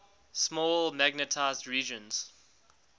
small magnetized regions